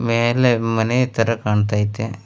ಮೇಲೆ ಮನೆ ತರ ಕಣ್ತೈತೆ.